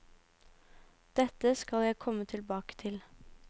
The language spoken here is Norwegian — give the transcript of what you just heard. Dette skal jeg komme tilbake til.